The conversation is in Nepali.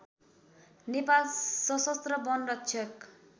नेपाल शसस्त्र वन रक्षक